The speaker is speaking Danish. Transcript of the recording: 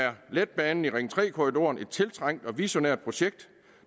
letbanen i ring tre korridoren er et tiltrængt og visionært projekt